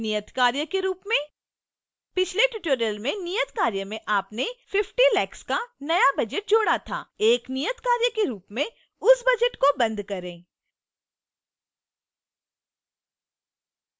नियतकार्य के रूप में